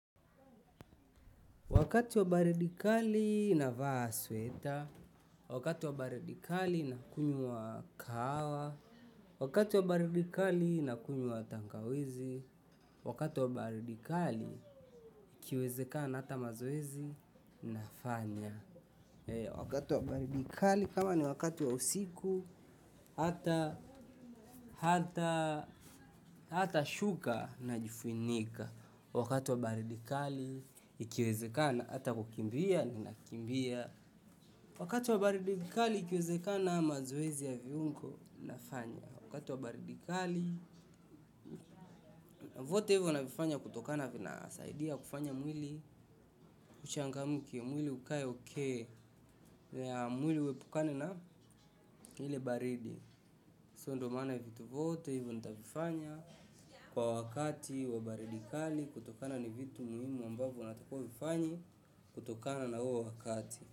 Wakati wa baridi kali navaa sweta, wakati wa baridi kali nakunywa kahawa, wakati wa baridi kali nakunywa tangawizi, wakati wa baridi kali ikiwezekana hata mazoezi nafanya. Wakati wa baridi kali kama ni wakati wa usiku hata shuka najifunika wakati wa baridi kali ikiwezekana hata kukimbia ninakimbia, wakati wa baridi kali ikiwezekana mazoezi ya viungo nafanya, wakati wa baridi kali vote hivo navifanya kutokana na vinasaidia kufanya mwili kuchangamka mwili ukae okay mwili huepukane na ile baridi so ndo maana vitu hivo nitavifanya kwa wakati wa baridi kali kutokana na vitu muhimu ambavyo unatakiwa uvifanye kutokana na huo wakati.